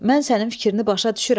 Mən sənin fikrini başa düşürəm.